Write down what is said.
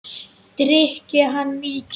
Drykki hann mikið?